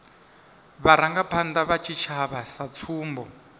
vharangaphanda vha tshitshavha sa tsumbo